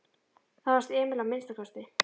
Það fannst Emil að minnsta kosti.